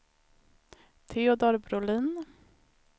Teodor Brolin